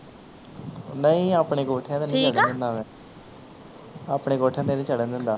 ਨਹੀਂ ਆਪਣੇ ਕੋਠਿਆਂ ਤੇ ਨਹੀਂ ਚੜਨ ਦਿੰਦਾ ਮੈਂ ਆਪਣੇ ਕੋਠਿਆਂ ਤੇ ਨਹੀਂ ਚੜਨ ਚੜਨ ਦਿੰਦਾ